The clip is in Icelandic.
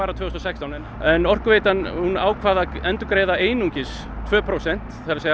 tvö þúsund og sextán en Orkuveitan ákvað að endurgreiða einungis tvö prósent það er